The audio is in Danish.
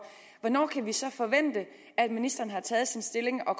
hvornår kan vi så forvente at ministeren har taget stilling og